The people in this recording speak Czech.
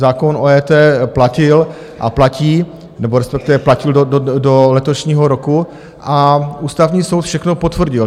Zákon o EET platil a platí, nebo respektive platil do letošního roku, a Ústavní soud všechno potvrdil.